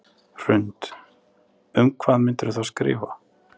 Hrund: Um hvað myndirðu þá skrifa?